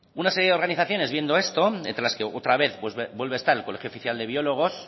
una serie de organizaciones viendo esto entre las que otra vez vuelve a estar el colegio oficial de biólogos